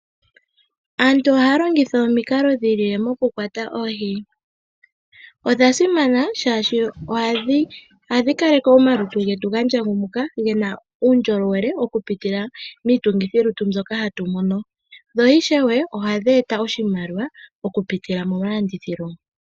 Aantu ohaya longitha omikala dhi ili moku kwata oohi . Odha simana shaashino ohadhi kaleke omalutu getu gandja ngumukwa gena uundjolowele oku pitila miitungithi lutu mbyoka hatu mono. Dho ishewe ohadhi eta oshimaliwa oku pitila mokulanditha